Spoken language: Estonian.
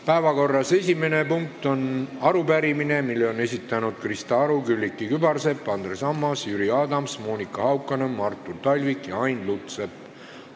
Päevakorra esimene punkt on arupärimine, mille on esitanud Krista Aru, Külliki Kübarsepp, Andres Ammas, Jüri Adams, Monika Haukanõmm, Artur Talvik ja Ain Lutsepp.